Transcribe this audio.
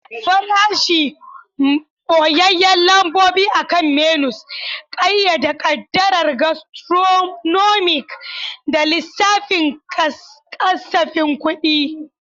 Farashi, ɓoyayyun lambobi akan menus, ƙayyade ƙaddarar gastronomic da lissafin kasafin kuɗi.